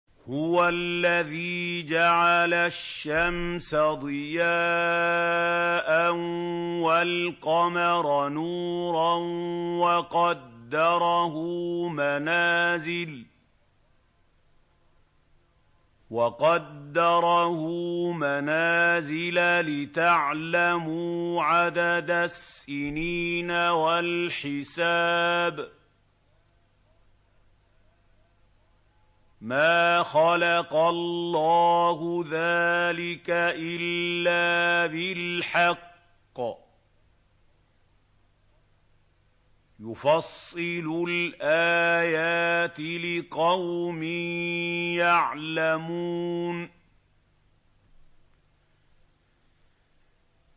هُوَ الَّذِي جَعَلَ الشَّمْسَ ضِيَاءً وَالْقَمَرَ نُورًا وَقَدَّرَهُ مَنَازِلَ لِتَعْلَمُوا عَدَدَ السِّنِينَ وَالْحِسَابَ ۚ مَا خَلَقَ اللَّهُ ذَٰلِكَ إِلَّا بِالْحَقِّ ۚ يُفَصِّلُ الْآيَاتِ لِقَوْمٍ يَعْلَمُونَ